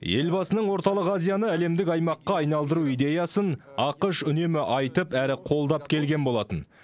елбасының орталық азияны әлемдік аймаққа айналдыру идеясын ақш үнемі айтып әрі қолдап келген болатын